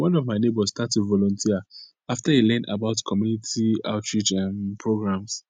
one of my neighbors start to volunteer after e learn about community outreach um programs